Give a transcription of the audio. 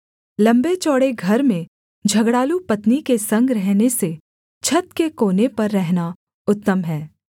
लम्बे चौड़े घर में झगड़ालू पत्नी के संग रहने से छत के कोने पर रहना उत्तम है